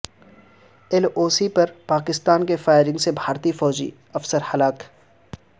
L O C پر پاکستان کی فائرنگ سے بھارتی فوجی افسر ہلاک